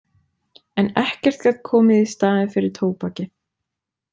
En ekkert gat komið í staðinn fyrir tóbakið.